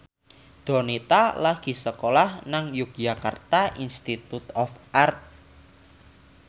Donita lagi sekolah nang Yogyakarta Institute of Art